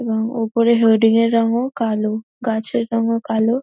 এবং ওপরের হোডিং এর রং-ও কালো গাছের রং-ও কালো ।